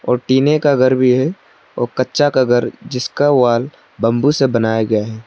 टिने का घर भी है औ कच्चा का घर जिसका वॉल बंबू से बनाया गया है।